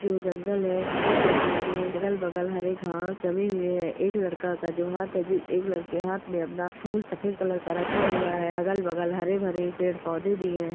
'' जो जंगल है जिस जंगल में अगल बगल हरे घास जमे हुए है एक लड़का का जो हाथ है ज-- एक लड़का हाथ में अपना फूल सफेद सफ़ेद कलर'''' का रखा हुआ है अलग बगल हरे भरे पेड़ पोधे भी है। ''